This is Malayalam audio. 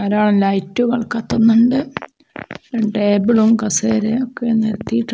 ധാരാളം ലൈറ്റുകൾ കത്തുന്നുണ്ട് ടേബിളും കസേരയും ഒക്കെ നിരത്തിയിട്ടുണ്ട്.